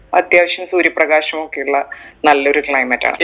അത്യാവശ്യം സൂര്യ പ്രകാശം ഒക്കെയുള്ള നല്ലൊരു climate ആണ്